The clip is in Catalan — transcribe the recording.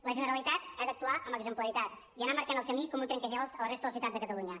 la generalitat ha d’actuar amb exemplaritat i anar marcant el camí com un trenca glaç a la resta de la societat de catalunya